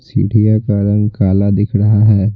चिढ़िया का रंग काला दिख रहा है।